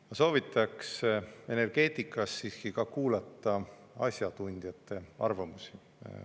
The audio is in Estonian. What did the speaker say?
Ma soovitaks energeetikas siiski ka kuulata asjatundjate arvamusi.